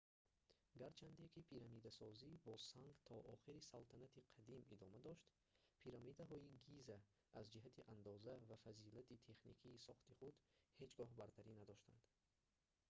гарчанде ки пирамидасозӣ бо санг то охири салтанати қадим идома дошт пирамидаҳои гиза аз ҷиҳати андоза ва фазилати техникии сохти худ ҳеҷ гоҳ бартарӣ надоштанд